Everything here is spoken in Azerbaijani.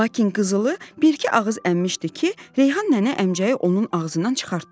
Lakin Qızılı bir-iki ağız əmmişdi ki, Reyhan nənə əmcəyi onun ağzından çıxartdı.